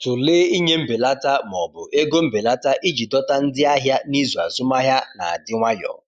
Tụlee ịnye mbelata ma ọ bụ ego mbelata iji dọta ndị ahịa n’izu azụmahịa na-adị nwayọ.